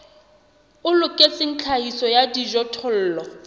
o loketseng tlhahiso ya dijothollo